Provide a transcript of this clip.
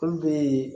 Olu bɛ yen